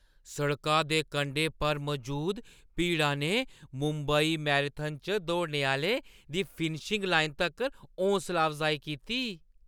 सड़का दे कंढे पर मजूद भीड़ा ने मुंबई मैराथन च दौड़ने आह्‌लें दी फिनिशिंग लाइन तक्कर हौसला अफजाई कीती।